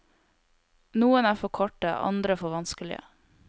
Noen er for korte, andre for vanskelige.